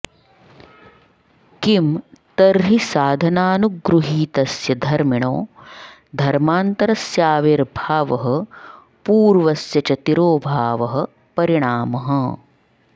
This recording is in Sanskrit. किं तर्हि साधनानुगृहीतस्य धर्मिणो धर्मान्तरस्याविर्भावः पूर्वस्य च तिरोभावः परिणामः